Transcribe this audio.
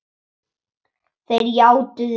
Þeir játuðu því.